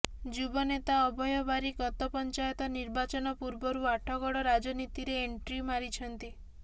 ଯୁବନେତା ଅଭୟ ବାରିକ୍ ଗତ ପଂଚାୟତ ନିର୍ବାଚନ ପୂର୍ବରୁ ଆଠଗଡ ରାଜନୀତିରେ ଏଣ୍ଟ୍ରି ମାରିଛନ୍ତି